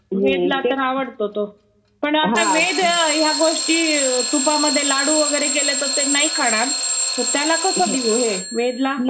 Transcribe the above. वेदला आवडतो तो. पण वेद आता ह्या गोष्टी तुपामध्ये लाडू वगैरे केले तर ते नाही खाणार, मग त्याला कसं देऊ हे, वेद ला?